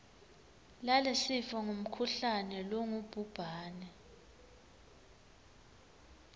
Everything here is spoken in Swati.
lalesifo ngumkhuhlane longubhubhane